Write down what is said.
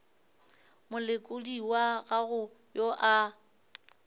molekodi wa gago yo a